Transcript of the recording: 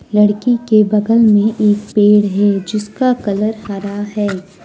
लड़की के बगल में एक पेड़ है जिसका कलर हरा है।